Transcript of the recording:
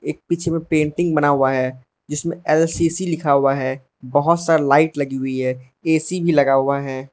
एक पीछे में पेंटिंग बना हुआ है जिसमें एल_सी_सी लिखा हुआ है बहोत सारी लाइट लगी हुई है ए_सी भी लगा हुआ है।